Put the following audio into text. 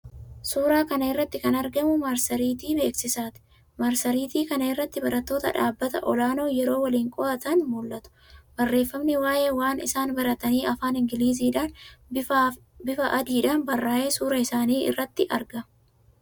Suuraa kana irratti kan argamu marsariitii beeksisaati. Marsariitii kana irratti barattoota dhaabbata olaanoo yeroo waliin qo'atan mul'atu. Barreeffamni waa'ee waan isaan baratanii afaan Ingiliziidhaan, bifa adiidhaan barraa'ee suuraa isaanii irratti argama.